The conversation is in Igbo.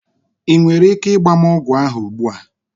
Ị nwere ike ịgba m ogwu ahụ ugbu a?